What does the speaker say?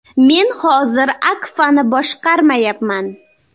Men hozir Akfa’ni boshqarmayapman.